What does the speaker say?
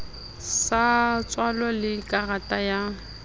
sa tswalo le karata ya